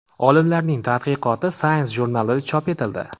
Olimlarning tadqiqoti Science jurnalida chop etildi .